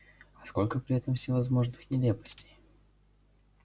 а сколько при этом всевозможных нелепостей